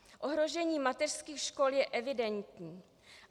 Ohrožení mateřských škol je evidentní.